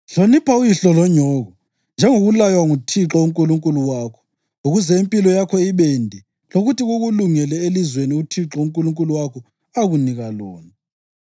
Hlonipha uyihlo lonyoko, njengokulaywa nguThixo uNkulunkulu wakho, ukuze impilo yakho ibende lokuthi kukulungele elizweni uThixo uNkulunkulu wakho akunika lona.